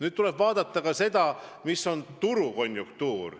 Samas tuleb vaadata ka seda, milline on turukonjunktuur.